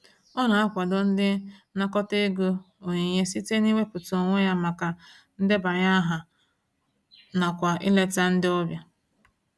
Ọ na-akwado ndị nnakọta ego onyinye site n'iwepụta onwe ya maka ndebanye aha nakwa ileta ndị ọbịa.